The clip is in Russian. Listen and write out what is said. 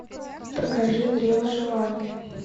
покажи древо желания